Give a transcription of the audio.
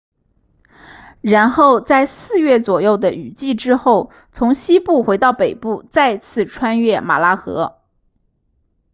然后在四月左右的雨季之后从西部回到北部再次穿越马拉河